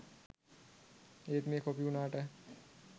ඒත් මේ කොපි උනාට